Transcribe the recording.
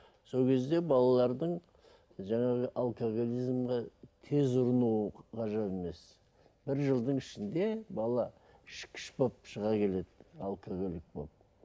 сол кезде балалардың жаңағы алкоголизмге тез ұрыну ғажап емес бір жылдың ішінде бала ішкіш болып шыға келеді алкоголик болып